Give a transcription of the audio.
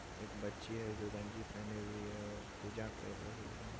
एक बच्ची है जो गंजी पहनी हुयी है और पूजा कर रही है।